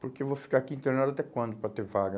Porque eu vou ficar aqui internado até quando para ter vaga?